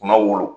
Kunna wolo